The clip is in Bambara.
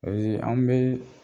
anw be